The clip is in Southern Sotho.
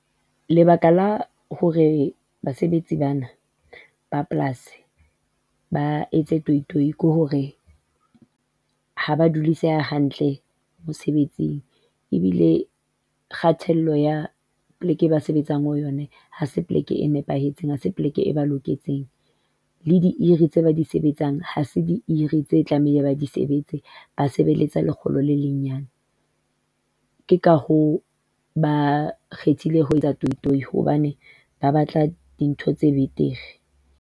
Lebaka la hore basebetsi bana ba polasi ba etse toyi-toyi ko hore ha ba duliseha hantle mosebetsing, ebile kgatello ya pleke e ba sebetsang ho yona ha se pleke e nepahetseng, ha se pleke e ba loketseng. Le tse ba di sebetsang, ha se tse tlamehile ba di sebetse, ba sebelletsa lekgolo le lenyenyane. Ke ka hoo ba kgethile ho etsa toyi-toyi hobane ba batla dintho tse betere.